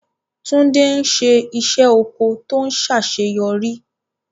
Tunde ń ṣe iṣẹ́ oko tó ṣàṣeyọrí.